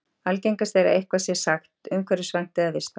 algengast er að eitthvað sé sagt umhverfisvænt eða vistvænt